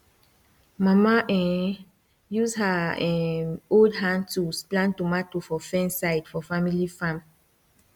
mama um use her um old hand tools plant tomato for fence side for family farm